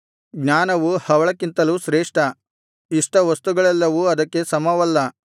ಜ್ಞಾನವು ಹವಳಕ್ಕಿಂತಲೂ ಶ್ರೇಷ್ಠ ಇಷ್ಟವಸ್ತುಗಳೆಲ್ಲವೂ ಅದಕ್ಕೆ ಸಮವಲ್ಲ